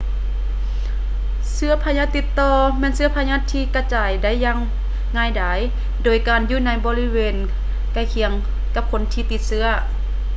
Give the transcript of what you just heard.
ເຊື້ອພະຍາດຕິດຕໍ່ ແມ່ນເຊື້ອພະຍາດທີ່ກະຈາຍໄດ້ຢ່າງງ່າຍດາຍ ໂດຍການຢູ່ໃນບໍລິເວນໃກ້ຄຽງກັບຄົນທີ່ຕິດເຊື້ອ